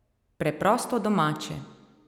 Preprosto domače.